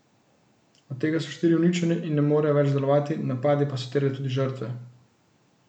Od tega so štiri uničene in ne morejo več delovati, napadi pa so terjali tudi žrtve.